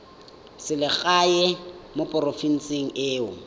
selegae mo porofenseng e o